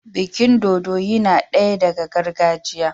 Bikin dodo yinadaya daga gargajiya